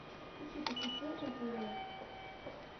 включи приключения на тв